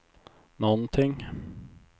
någonting